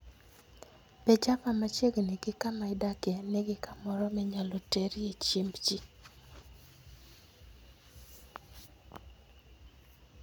Be Java machiegni gi kama idakie nigi kamoro minyalo terie chiemb ji?